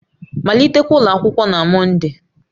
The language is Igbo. Malitekwa ụlọ akwụkwọ na Mọnde!